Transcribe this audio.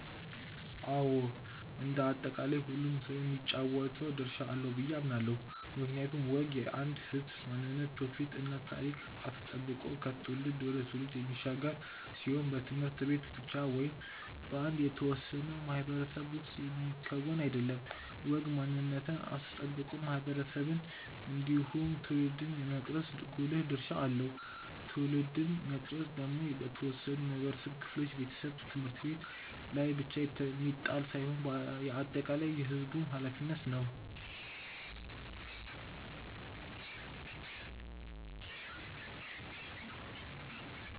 አዎ እንደ አጠቃላይ ሁሉም ሰው የሚጫወተው ድርሻ አለው ብዬ አምናለው። ምክንያቱም ወግ የአንድን ህዝብ ማንነት ትውፊት እና ታሪክ አስጠብቆ ከትውልድ ወደ ትውልድ የሚሻገር ሲሆን በት/ቤት ብቻ ወይም በአንድ የተወሰነ ማህበረሰብ ውስጥ የሚከወን አይደለም። ወግ ማንነትን አስጠብቆ ማህበረሰብን እንዲሁም ትውልድን የመቅረጽ ጉልህ ድርሻ አለው። ትውልድን መቅረጽ ደግሞ በተወሰኑ የማህበረሰብ ክፍሎች (ቤተሰብ፣ ት/ቤት) ላይ ብቻ የሚጣል ሳይሆን የአጠቃላይ የህዝቡም ኃላፊነት ነው።